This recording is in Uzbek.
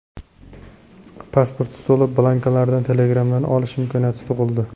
Pasport stoli blankalarini Telegram’dan olish imkoniyati tug‘ildi.